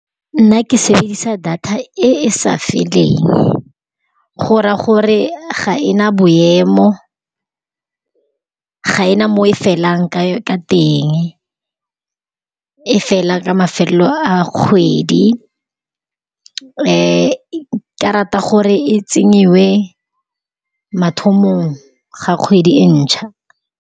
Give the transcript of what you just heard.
Nna ke sebedisa data e e sa feleng, go raya gore ga e na boemo, ga e na mo e felang, ka-ka teng e fela ka mafelelong a kgwedi. Nka rata gore e tsenngwe mathomong a kgwedi e ntšha.